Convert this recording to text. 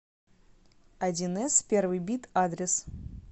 одинэс первый бит адрес